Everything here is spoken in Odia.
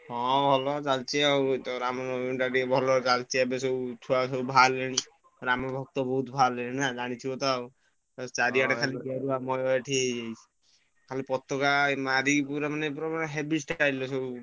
ହଁ ଭଲ ଚାଲିଛି ଆଉ ଏଇତ ରାମନବମୀ ପାଇଁ ଟିକେ ଭଲ ଚାଲିଛି ଏବେ ସବୁ ଛୁଆ ସବୁ ବାହାରିଲେଣି ରାମ ଭକ୍ତ ବହୁତ ବାହାରିଲେଣି ନା ଜାଣିଥିବ ତ ଆଉ। ଏଇ ଚାରିଆଡେ ଖାଲି ମୟ ଏଠି ବହୁତ ପତାକା ଏଇ ମାରିକି ପୁରା ମାନେ heavy style ରେ ସବୁ